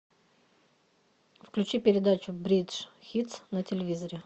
включи передачу бридж хитс на телевизоре